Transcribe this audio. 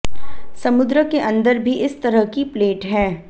समुद्र के अंदर भी इस तरह की प्लेट हैं